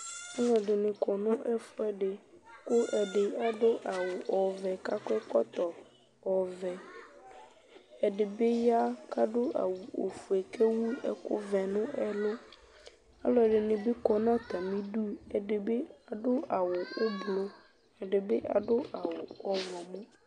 Aluɛdini kɔ nu ɛfuɛdi ku ɔlɔdi adu awu ɔvɛ ku akɔ ɛkɔtɔ ɔvɛ ɛdibi ya kadu awu ofue ku ewu ɛkuvɛ nu ɛlu aluɛdini bi kɔ nu atamidu ɛdibi adu awu ublu ɛdibi adu awu ɛblu